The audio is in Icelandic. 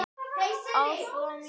Síra Björn var með óráði.